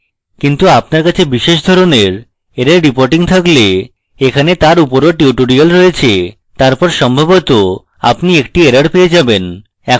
কিন্তু আপনার কাছে বিশেষ ধরণের error reporting থাকলে এখানে তার উপরও tutorial রয়েছে তারপর সম্ভবত আপনি একটি error পেয়ে যাবেন